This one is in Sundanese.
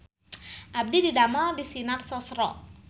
Abdi didamel di Sinar Sosro